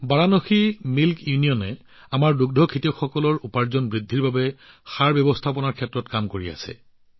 বাৰাণসী দুগ্ধ ইউনিয়নে আমাৰ দুগ্ধ পালকসকলৰ আয় বৃদ্ধিৰ বাবে গোবৰ ব্যৱস্থাপনাৰ কাম কৰি আছে